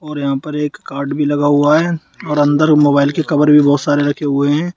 और यहां पर एक कार्ड भी लगा हुआ है और अंदर मोबाइल के कवर भी बहुत सारे रखे हुए हैं।